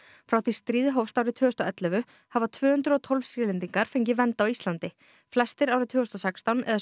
frá því stríðið hófst árið tvö þúsund og ellefu hafa tvö hundruð og tólf Sýrlendingar fengið vernd á Íslandi flestir árið tvö þúsund og sextán eða